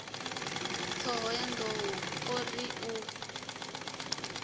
thohoyanḓ ou o ri u